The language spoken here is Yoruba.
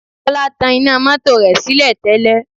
Ọlá tan iná mọ́tò rẹ̀ sílẹ̀ tẹ́lẹ̀